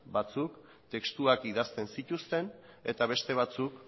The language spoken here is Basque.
batzuk testuak idazten zituzten eta beste batzuk